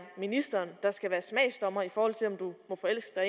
ministeren der skal være smagsdommer i forhold til om du må forelske dig